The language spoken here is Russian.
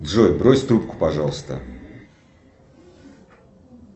джой брось трубку пожалуйста